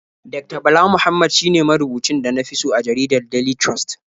Dakta Bala Muhammad shine marubucin da na fi so a jaridar Daily Trust.